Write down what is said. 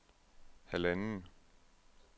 halvanden